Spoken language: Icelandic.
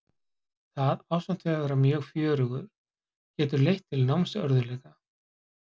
Það, ásamt því að vera mjög fjörugir, getur leitt til námsörðugleika.